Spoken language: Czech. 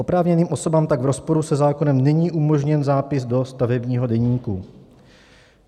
Oprávněným osobám tak v rozporu se zákonem není umožněn zápis do stavebního deníku.